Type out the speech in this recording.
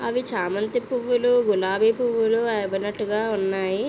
అవి చామంతి పువ్వులు గులాబీ పువ్వులు అవినట్టుగా ఉన్నాయి.